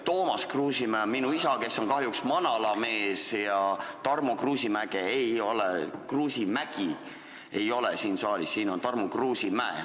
Toomas Kruusimäe on minu isa, kes on kahjuks manalamees, ja Tarmo Kruusimägi ei ole siin saalis, siin on Tarmo Kruusimäe.